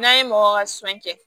N'a ye mɔgɔ ka sonɲɛ kɛ